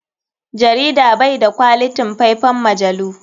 Jarida bai da kwalitin faifan majalu.